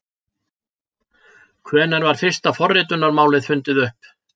Hvenær var fyrsta forritunarmálið fundið upp?